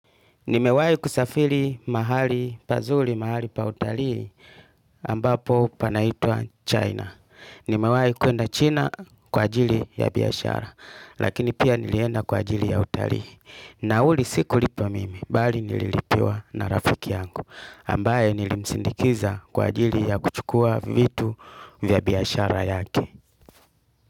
Nimewai kusafili mahali pazuli, mahali pa utalii ambapo panaitwa China. Nimewai kuenda China kwa ajili ya biyashara, lakini pia nilienda kwa ajili ya utalii. Nauli siku lipa mimi, bali nililipiwa na rafiki yangu, ambaye nilimsindikiza kwa ajili ya kuchukua vitu vya biashara yake.